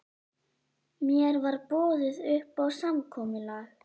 Mér var boðið upp á samkomulag